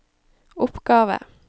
oppgave